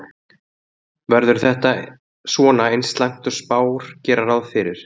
Verður þetta svona eins slæmt og spár gera ráð fyrir?